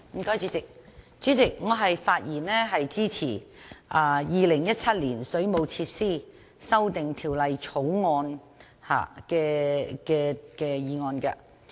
代理主席，我發言支持《2017年水務設施條例草案》。